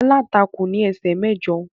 Aláǹtakùn ní esè mẹjọ.